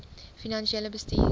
finansiële bestuur